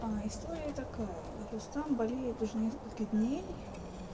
история такая рустам болеет уже несколько дней